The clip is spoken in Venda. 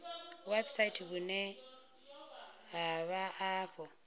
website vhune ha vha afho